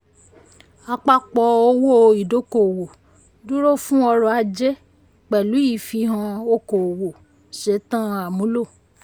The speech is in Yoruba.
àpapọ̀ owó ìdọ́kowọ̀ dúró fún ọrọ̀ ajé pẹ̀lú ìfihàn okòowò ṣetán àmúlò.